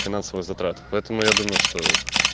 финансовые затраты поэтому я думаю что